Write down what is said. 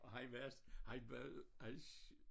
Og han var han var hans